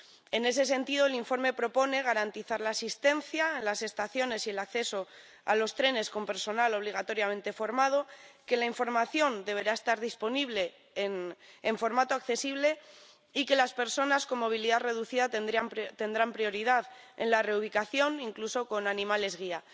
En ese sentido, el informe propone garantizar la asistencia en las estaciones y el acceso a los trenes con personal obligatoriamente formado, que la información deberá estar disponible en formato accesible y que las personas con movilidad reducida tendrán prioridad en la reubicación, incluso con animales guía.